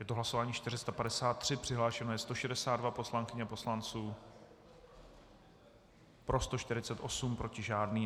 Je to hlasování 453, přihlášeno je 162 poslankyň a poslanců, pro 148, proti žádný.